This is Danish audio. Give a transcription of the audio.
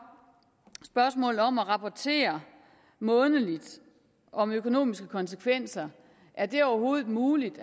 spørgsmålet om at rapportere månedligt om økonomiske konsekvenser er det overhovedet muligt